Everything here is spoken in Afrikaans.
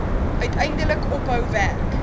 uiteindelik ophou werk